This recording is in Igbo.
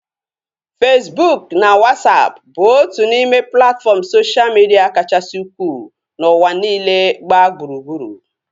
Fesbụụk na Wasapụ bụ otu n'ime platfọm soshal midia kachasị ukwuu n'ụwa niile gbaa gburugburu